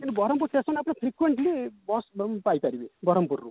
କିନ୍ତୁ ବରମ୍ପୁର station ଆପଣ frequently bus ପାଇପାରିବେ ବରମ୍ପୁରରୁ